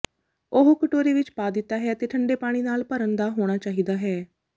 ਉਹ ਕਟੋਰੇ ਵਿੱਚ ਪਾ ਦਿੱਤਾ ਹੈ ਅਤੇ ਠੰਡੇ ਪਾਣੀ ਨਾਲ ਭਰਨ ਦਾ ਹੋਣਾ ਚਾਹੀਦਾ ਹੈ